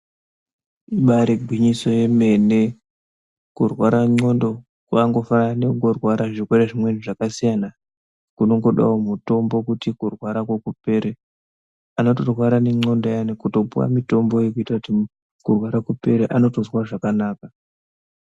Ibaari gwinyiso yemene kurwara ndxondo kwakangofanana nekungorwara zvirwere zvimwe zvakasiyana kunongodawo mutombo kuti kurwarako kupere unotorwara nendxondo uyani kutopuwe mutombo yekutoti kurwara kupere anotozwa zvakanaka.